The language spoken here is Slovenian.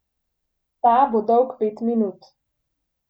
Ta bo dolg pet minut.